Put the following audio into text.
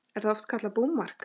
Er það oft kallað búmark.